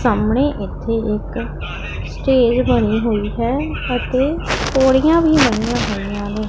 ਸਾਹਮਣੇ ਇੱਥੇ ਇੱਕ ਸਟੇਜ ਬਣੀ ਹੋਈ ਹੈ ਅਤੇ ਪੌੜੀਆਂ ਵੀ ਬਣੀਆਂ ਹੋਈਆਂ ਨੇ।